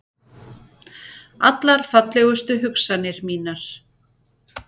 Allar fallegustu hugsanir mínar.